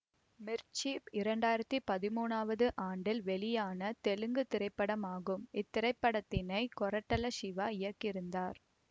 மிர்ச்சி இரண்டாயிரத்தி பதிமூனாவது ஆண்டில் வெளியான தெலுங்கு திரைப்படமாகும் இத்திரைப்படத்தினை கொரட்டல சிவா இயக்கியிருந்தார்